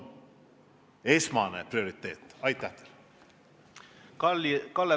Kalle Palling, palun!